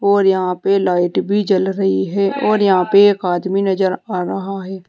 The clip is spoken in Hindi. और यहां पे लाइट भी जल रही है और यहां पे एक आदमी नजर आ रहा है।